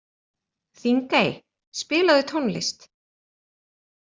Þingey, spilaðu tónlist.